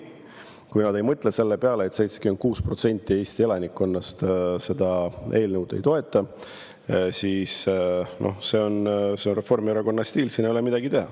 Kui nad ei mõtle selle peale, et 76% Eesti elanikkonnast seda eelnõu ei toeta, siis see on Reformierakonna stiil, siin ei ole midagi teha.